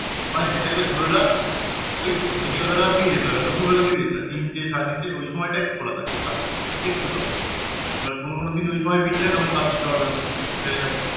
ওখানে যেতে গেলে ধরে রাখ ওই বিকেল বেলার দিকে যেতে হবে দুপুর বেলার দিকে যেতে হবে তিনটে সাড়ে তিনটে ওই সময়টা একটু খোলা থাকে ফাঁকা থাকে একটু তাও কোনো কোনো দিন ওই সময় ভিড় থাকে তখন কাজ করতে পারবে না তুমি হয়ে গেলো